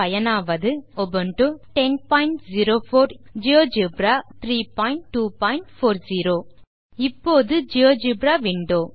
GeoGebra வை பயன்படுத்த பயனாவது Linux operating system Ubuntu version 1004 LTS மற்றும் ஜியோஜெப்ரா வெர்ஷன் 3240 இப்போது ஜியோஜெப்ரா விண்டோ